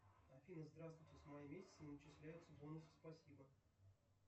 афина здравствуйте с мая месяца не начисляются бонусы спасибо